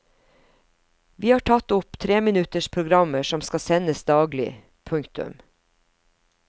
Vi har tatt opp treminutters programmer som skal sendes daglig. punktum